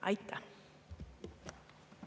Aitäh!